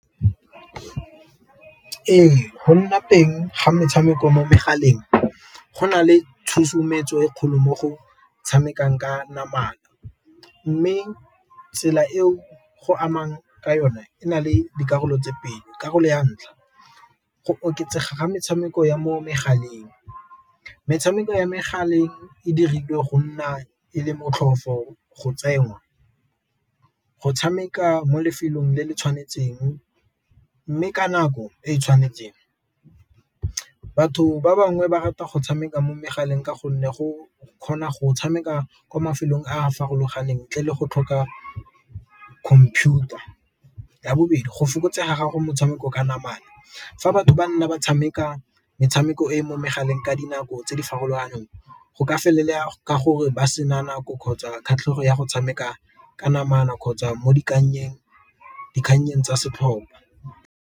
Ee, go nna teng ga metshameko mo megaleng go na le tshusometso e kgolo mo go tshamekang ka namana, mme tsela eo go amang ka yone e na le dikarolo tse pedi. Karolo ya ntlha go oketsega ga metshameko ya mo megaleng metshameko ya megaleng e dirilwe go nna e le motlhofo go tsenngwa, go tshameka mo lefelong le le tshwanetseng mme ka nako e e tshwanetseng. Batho ba bangwe ba rata go tshameka mo megaleng ka gonne go kgona go tshameka kwa mafelong a a farologaneng ntle le go tlhoka computer, ya bobedi go fokotsega gago motshameko ka namana fa batho ba nna ba tshameka metshameko e mo megaleng ka dinako tse di farologaneng go ka felela ka gore ba sena nako kgotsa kgatlhego ya go tshameka ka namana kgotsa mo dikgangnyeng tsa setlhopa.